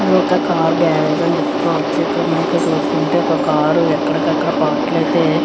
ఇది ఒక్క car garage అని చెప్పుకోవచ్చు. ఇక్కడ మనకి చూస్తుంటే ఒక కారు ఎక్కడికి అక్కడ పార్ట్స్ అయితే --